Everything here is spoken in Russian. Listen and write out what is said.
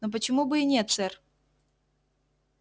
но почему бы и нет сэр